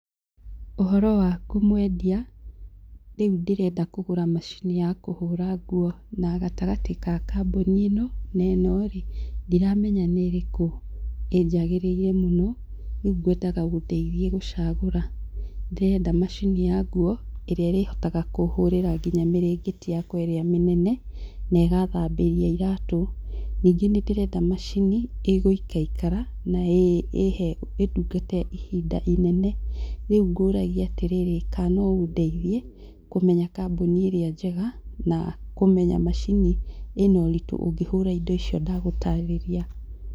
Ũhoro waku mwendia? Rĩu ndĩrenda kũgũra macini ya kũhũra nguo, na gatagatĩ ga kambuni ĩno na ĩno rĩ, ndiramenya nĩ ĩrĩkũ ĩnjagĩrĩire mũno, rĩu ngwendaga ũndeithie gũcagũra. Ndĩrenda macini ya nguo ĩrĩa ĩrĩhotaga kũhũra nginya mĩrengeti yakwa ĩrĩa mĩnene na ĩgathambĩria iratũ. Ningĩ nĩ ndĩrenda macini ĩgũikarakara ĩ he ĩ ndungate ihinda inene. Rĩu ngũragia atĩrĩrĩ, kana no ũndeithie kũmenya kambuni ĩrĩa njega, na kũmenya macini ĩ na ũritũ ũngĩhũra indo icio ndagũtarĩria.